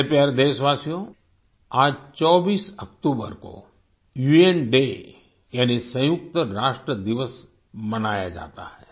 मेरे प्यारे देशवासियो आज 24 अक्टूबर को उन डे यानि सयुंक्त राष्ट्र दिवस मनाया जाता है